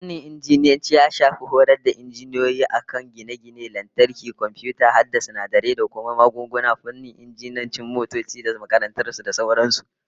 Fannin Injiniyanci ya shafi horas da injiniyoyi a kan gine-gine, lantarki, komfiyuta, hada sinadarai da kuma magunguna, fannin injinan motoci da makamantar su, da sauran su